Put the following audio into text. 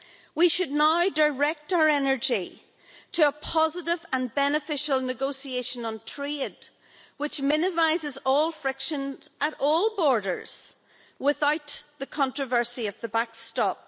We should now direct our energy to a positive and beneficial negotiation on trade which minimises all frictions at all borders without the controversy of the backstop.